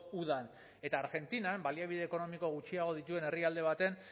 udan eta argentinan baliabide ekonomiko gutxiago dituen herrialde batean